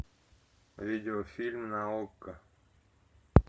видеофильм на окко